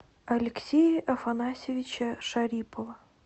алексея афанасьевича шарипова